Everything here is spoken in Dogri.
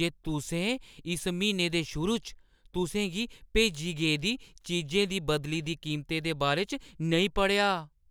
जे तुसें इस म्हीने दे शुरू च तुसें गी भेजी गेदी चीजें दी बदली दी कीमतें दे बारे च नेईं पढ़ेआ।